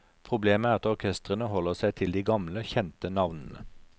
Problemet er at orkestrene holder seg til de gamle, kjente navnene.